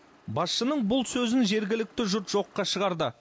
басшының бұл сөзін жергілікті жұрт жоққа шығарды